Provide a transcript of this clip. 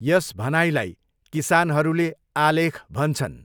यस भनाइलाई किसानहरूले 'आलेख' भन्छन्।